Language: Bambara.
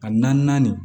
A naani naani